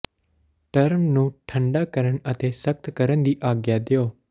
term ਨੂੰ ਠੰਡਾ ਕਰਨ ਅਤੇ ਸਖਤ ਕਰਨ ਦੀ ਆਗਿਆ ਦਿਓ